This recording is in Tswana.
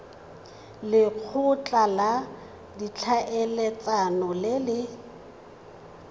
lekgotla la ditlhaeletsano le le